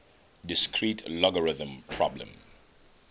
discrete logarithm problem